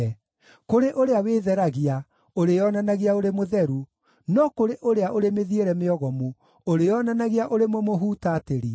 kũrĩ ũrĩa wĩtheragia, ũrĩĩonanagia ũrĩ mũtheru, no kũrĩ ũrĩa ũrĩ mĩthiĩre mĩogomu, ũrĩĩonanagia ũrĩ mũmũhutatĩri.